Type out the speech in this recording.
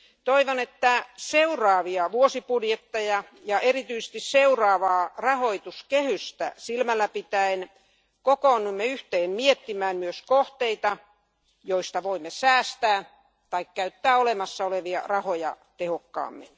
Toivon, että seuraavia vuosibudjetteja ja erityisesti seuraavaa rahoituskehystä silmällä pitäen kokoonnumme yhteen miettimään myös kohteita, joista voimme säästää tai käyttää olemassa olevia rahoja tehokkaammin.